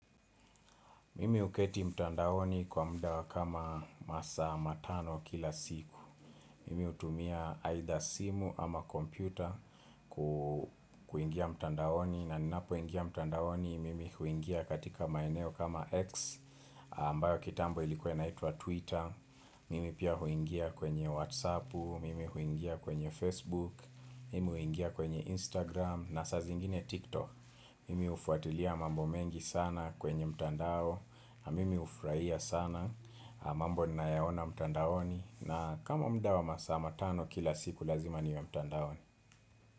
Mimi huketi mtandaoni kwa mudaa wa kama masaa matano kila siku Mimi hutumia aidha simu ama kompyuta kuingia mtandaoni. Na ninapo ingia mtandaoni mimi huingia katika maeneo kama X ambayo kitambo ilikuwa naituwa Twitter Mimi pia huingia kwenye Whatsappu, Mimi huingia kwenye Facebook Mimi huingia kwenye Instagram na sa zingine TikTok Mimi ufuatilia mambo mengi sana kwenye mtandao Mimi hufurahia sana m, ambo ninayo yaona mtandaoni, na kama mudaa wa masaa matano kila siku lazima niwe mtandaoni.